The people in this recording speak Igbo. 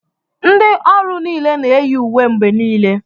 Ndị ọrụ niile na-eyi uwe mgbe niile